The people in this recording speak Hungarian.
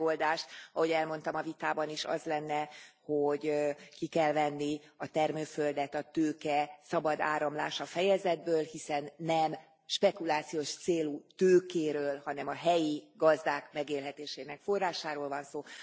Itt a megoldás, ahogy elmondtam a vitában is, az lenne, hogy ki kell venni a termőföldet a tőke szabad áramlása fejezetből, hiszen nem spekulációs célú tőkéről, hanem a helyi gazdák megélhetésének forrásáról van szó.